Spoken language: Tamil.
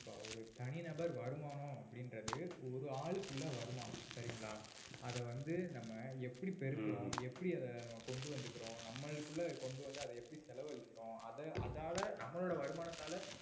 இப்ப ஒரு தனிநபர் வருமானம் அப்படின்றது ஒரு ஆளுக்கு உள்ள வருமானம் சரிங்களா அத வந்து நம்ம எப்படி பெருக்கறோம் எப்படி அதை நம்ம கொண்டு வந்துக்கறோம் நம்மளுக்குள்ள கொண்டு வந்து எப்படி அத செலவழிக்கிறோம் அத~ அதால நம்மளோட வருமானத்தால